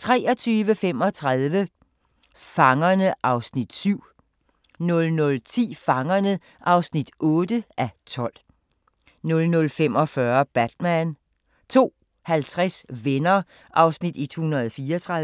23:35: Fangerne (7:12) 00:10: Fangerne (8:12) 00:45: Batman 02:50: Venner (134:235)